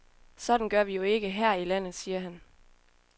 Sådan gør vi jo ikke her i landet, siger han.